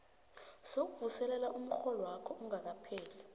sokuvuselelwa komrholwakho kungakapheli